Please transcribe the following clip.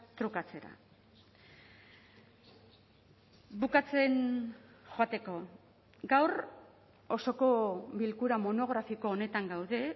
trukatzera bukatzen joateko gaur osoko bilkura monografiko honetan gaude